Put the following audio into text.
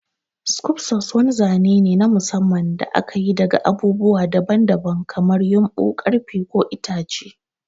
Skufcos wani zane ne na musamman da aka yi daga abubuwa daban-daban kamar ƴumbu, ƙarfe, ko itace.